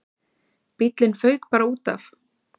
Bíllinn fauk bara útaf.